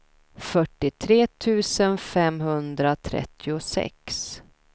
fyrtiotre tusen femhundratrettiosex